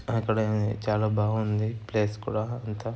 అక్కడే ఉంది. చాలా బాగుంది. ప్లేస్ కూడా అంతా.